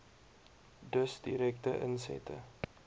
dus direkte insette